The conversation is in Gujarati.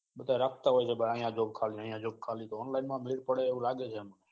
બધા રાખતા હોય તો અહીંયા ખાલી અહીંયા જો ખાલી online તો માં મેડ પડે એવું લાગે છે.